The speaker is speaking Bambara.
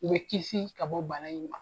U bɛ kisi ka bɔ bana in ma